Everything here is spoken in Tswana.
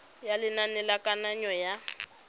ya lenane la kananyo ya